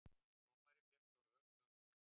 Dómarinn féllst á rök lögmannsins